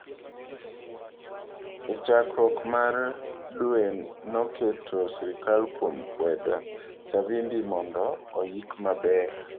E chakruok mar dweNoketo sirikal kuom kwedo Savimbi mondo oyik maber.